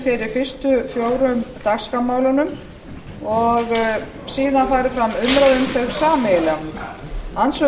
fyrir fyrstu fjórum dagskrármálunum og síðan fari fram umræða um þau sameiginlega andsvör